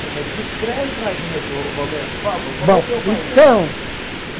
Então, mas descreve para a gente, o Romero, por favor, como é que é o painel. Bom, então